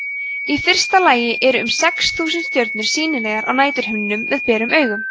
í fyrsta lagi eru um sex þúsund stjörnur sýnilegar á næturhimninum með berum augum